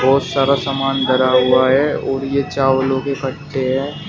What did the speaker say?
बहोत सारा सामान धरा हुआ है और ये चावलों के खट्टे हैं।